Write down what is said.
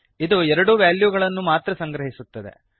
ಇದು ಎರಡು ವ್ಯಾಲ್ಯೂಗಳನ್ನು ಮಾತ್ರ ಸಂಗ್ರಹಿಸುತ್ತದೆ